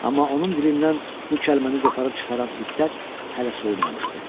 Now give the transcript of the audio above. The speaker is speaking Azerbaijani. Amma onun dilindən bu kəlməni qoparıb çıxaran hiddət hələ soyunmamışdı.